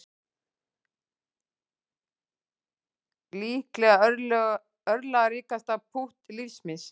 Líklega örlagaríkasta pútt lífs míns